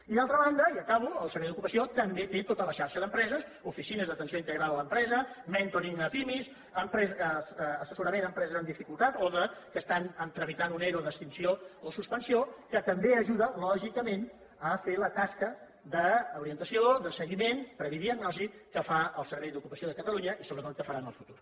i d’altra banda i acabo el servei d’ocupació també té tota la xarxa d’empreses oficines d’atenció integral a l’empresa mentoringempreses amb dificultat o que estan tramitant un ero d’extinció o suspensió que també ajuda lògicament a fer la tasca d’orientació de seguiment prèvia diagnosi que fa el servei d’ocupació de catalunya i sobretot que farà en el futur